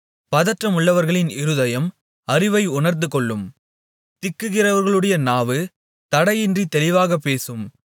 பதற்றமுள்ளவர்களின் இருதயம் அறிவை உணர்ந்துகொள்ளும் திக்குகிறவர்களுடைய நாவு தடையின்றித் தெளிவாகப் பேசும்